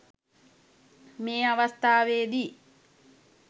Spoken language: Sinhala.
මේ අවස්ථාවේ දී